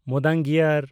ᱢᱩᱫᱚᱱᱜᱤᱭᱟᱨ